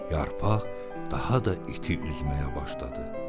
Yarpaq daha da iti üzməyə başladı.